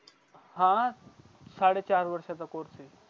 हा सडे चार वर्ष चा असतो